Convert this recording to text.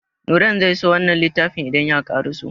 Nurain zai so wannan littafin idan ya karaso.